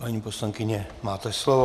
Paní poslankyně, máte slovo.